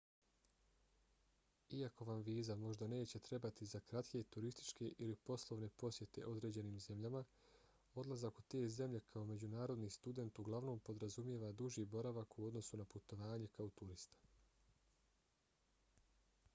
iako vam viza možda neće trebati za kratke turističke ili poslovne posjete određenim zemljama odlazak u te zemlje kao međunarodni student uglavnom podrazumijeva duži boravak u odnosu na putovanje kao turista